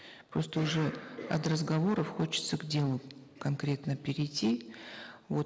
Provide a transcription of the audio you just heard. просто уже от разговоров хочется к делу конкретно перейти вот